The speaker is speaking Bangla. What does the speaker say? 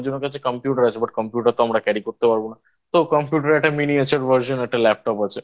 জনের কাছে Computer আছে But Computer তো আমরা Carry করতে পারবো না তো Computer এর একটা Miniature Version একটা Laptop আছে